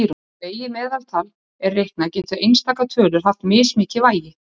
Þegar vegið meðaltal er reiknað geta einstakar tölur haft mismikið vægi.